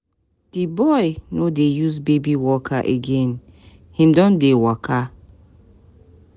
Di boy no dey use baby walker again, him don dey waka.